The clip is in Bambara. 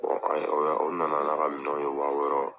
an ye u na na n'a ka minɛnw ye wa wɔɔrɔ.